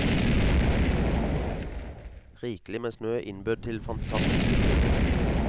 Rikelig med snø innbød til fantastiske turer.